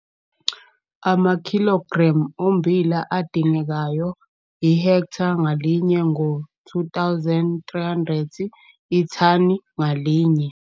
Amakhilogremu ommbila adingekayo ihektha ngalinye ngo-R2 300 ithani ngalinye